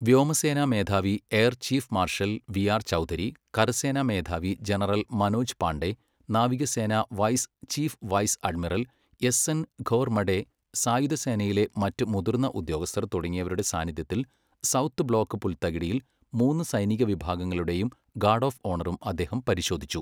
വ്യോമസേനാ മേധാവി air chief marshal V R Chaudhari, കരസേനാ മേധാവി ജനറൽ മനോജ് പാണ്ഡെ, നാവികസേനാ vice chief vice admiral S N Ghormade സായുധ സേനയിലെ മറ്റ് മുതിർന്ന ഉദ്യോഗസ്ഥർ തുടങ്ങിയവരുടെ സാന്നിധ്യത്തിൽ സൗത്ത് ബ്ലോക്ക് പുൽത്തകിടിയിൽ മൂന്ന് സൈനിക വിഭാഗങ്ങളുടെയും ഗാർഡ് ഓഫ് ഓണറും അദ്ദേഹം പരിശോധിച്ചു.